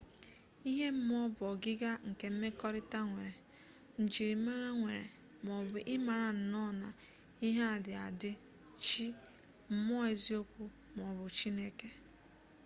ihe mmụọ bụ ọgịga nke mmekọrịta nwere njirimara nwere maọbu ị mara nnụọ na ihe a dị adị chi mmụọ eziokwu maọbụ chineke